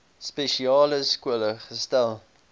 spesiale skole gesetel